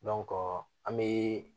an bɛ